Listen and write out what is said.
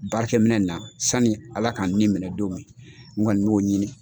Baarɛkɛ minɛn na sani Ala ka n nin minɛ don min n kɔni n b'o ɲini